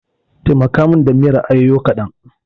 Taimaka min da miyar ayoyo kadan.